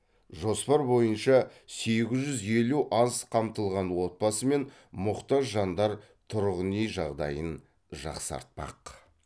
жоспар бойынша сегіз жүз елу аз қамтылған отбасы мен мұқтаж жандар тұрғын үй жағдайын жақсартпақ